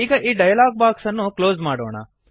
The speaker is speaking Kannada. ಈಗ ಈ ಡಯಲಾಗ್ ಬಾಕ್ಸ್ ಅನ್ನು ಕ್ಲೋಸ್ ಮಾಡೋಣ